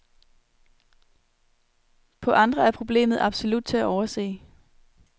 På andre er problemet absolut til at overse.